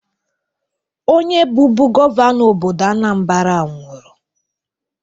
Onye bụbu gọvanọ obodo Anambra nwụrụ.